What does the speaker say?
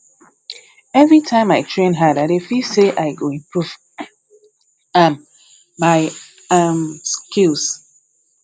every time i train hard i dey feel say i go improve um my um skills